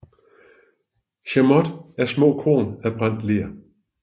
Chamotte er små korn af brændt ler